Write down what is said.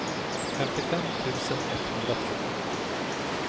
femtiofem tusen etthundratvå